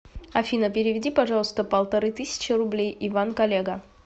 афина переведи пожалуйста полторы тысячи рублей иван коллега